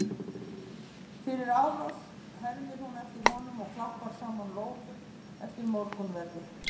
Fyrir árás? hermir hún eftir honum og klappar saman lófum eftir morgunverði.